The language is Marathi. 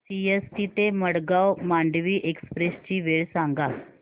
सीएसटी ते मडगाव मांडवी एक्सप्रेस ची वेळ सांगा